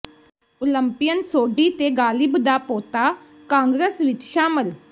Olympian Sodhi ਤੇ ਗਾਲਿਬ ਦਾ ਪੋਤਾ ਕਾਂਗਰਸ ਵਿਚ ਸ਼ਾਮਲ